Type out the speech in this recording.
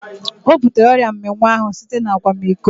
Ọ butere ọrịa mminwụ ahu site na akwamiko